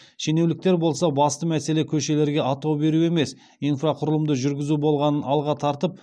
шенеуніктер болса басты мәселе көшелерге атау беру емес инфрақұрылымды жүргізу болғанын алға тартып